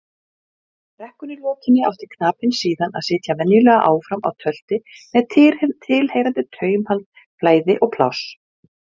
Við vorum svolítið hægir og boltinn gekk ekki nógu hratt á milli manna.